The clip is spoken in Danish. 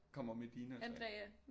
Kommer Medina